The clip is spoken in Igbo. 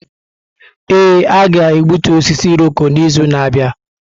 Ee, a ga-egbutu osisi Irọko n’izu na-abịa.